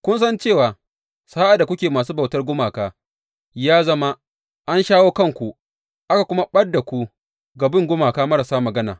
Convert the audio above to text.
Kun san cewa sa’ad da kuke masu bautar gumaka, ya zama, an shawo kanku, aka kuma ɓad da ku ga bin gumaka marasa magana.